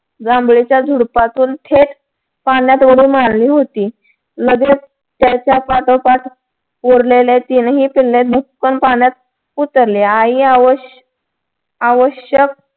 जांभळीच्या झुडपातून थेट पाण्यात उडी मारली होती. लगेच त्याच्या पाठोपाठ उरलेले तीनही पिल्ले भसकन पाण्यात उतरली. आई आवश्य आवश्यक